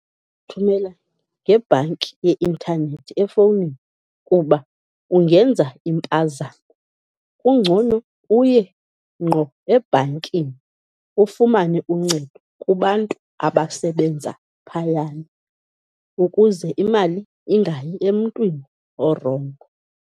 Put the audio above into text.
Thumela ngebhanki ye intanethi efowunini kuba ungenza impazamo. Kungcono uye ngqo ebhankini ufumane uncedo kubantu abasebenza phayana ukuze imali ingayi emntwini orongo.